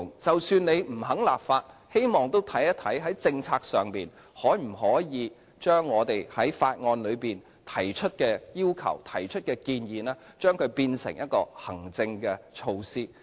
即使政府不肯立法，都希望研究在政策上可否把我們在法案內提出的要求和建議變成行政措施。